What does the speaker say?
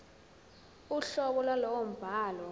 uhlobo lwalowo mbhalo